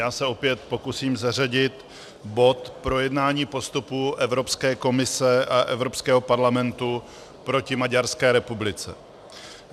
Já se opět pokusím zařadit bod Projednání postupu Evropské komise a Evropského parlamentu proti Maďarské republice.